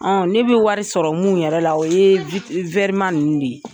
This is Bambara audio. ne bɛ wari sɔrɔ minnu yɛrɛ la o ye ma ninnu de ye.